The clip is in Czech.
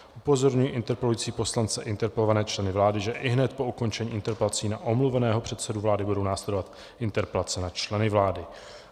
Upozorňuji interpelující poslance i interpelované členy vlády, že ihned po ukončení interpelací na omluveného předsedu vlády budou následovat interpelace na členy vlády.